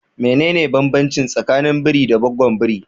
Mene ne banbancin tsakanin biri da gaggwon biri?